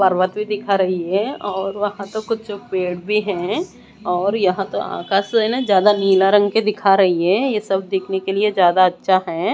पर्वत भीं दिखा रहीं हैं और वहां तो कुछ पेड़ भीं हैं और यहां तो आकाश है ना ज्यादा नीला रंग के दिखा रहीं हैं ये सब देखने के लिए ज्यादा अच्छा हैं।